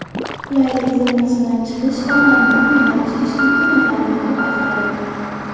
Qulaylik zonasidan chiqish omadni dumidan tutish imkoniyatlarini ko‘paytiradi.